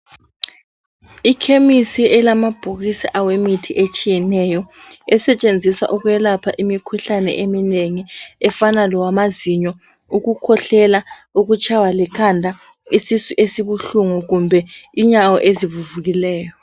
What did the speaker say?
Ikhemisi elamabhokisi awemithi etshiyeneyo esetshenziswa ukwelapha imikhuhlane eminingi efana lowamazinyo ukuhlela ukushaywa likhanda isisu esibuhlungu kumbe inyawo ezivuvukileyo.